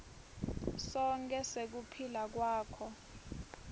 sonkhe sekuphila kwakho